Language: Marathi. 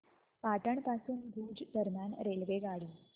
पाटण पासून भुज दरम्यान रेल्वेगाडी